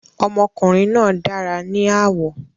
Ọmọkùnrin náà dára ní àwọ̀